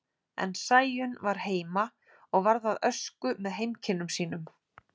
En Sæunn var heima og varð að ösku með heimkynnum sínum.